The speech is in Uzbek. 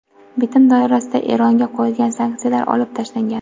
Bitim doirasida Eronga qo‘yilgan sanksiyalar olib tashlangan.